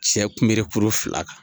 Cɛ kunberekuru fila kan.